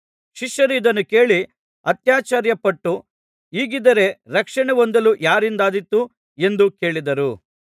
ಶಿಷ್ಯರು ಇದನ್ನು ಕೇಳಿ ಅತ್ಯಾಶ್ಚರ್ಯಪಟ್ಟು ಹೀಗಿದ್ದರೆ ರಕ್ಷಣೆ ಹೊಂದಲು ಯಾರಿಂದಾದೀತು ಎಂದು ಕೇಳಿದರು